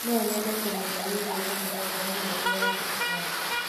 No nyende kũmenya wĩgiĩ mũtaratara mwerũ wa thirikari.